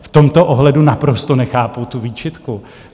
V tomto ohledu naprosto nechápu tu výčitku.